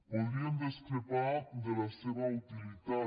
podríem discrepar de la seva utilitat